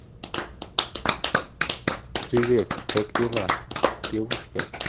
привет как дела девушка